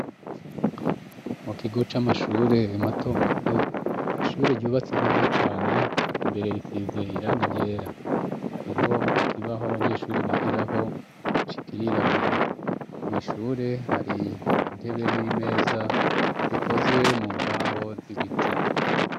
Mu gigo c'amashure matomato ishure ryubatse neza cane imbere risize iranga iryera hariho ikibaho abanyeshuri bigiraho cikirirabura mwishure hari intebe n'imeza zikozwe mu mbaho z'ibiti.